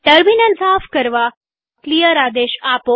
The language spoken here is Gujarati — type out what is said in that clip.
ટર્મિનલ બારી સાફ કરવા ક્લિયર આદેશ આપો